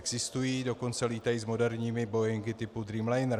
Existují, dokonce létají s moderními boeingy typu Dreamliner.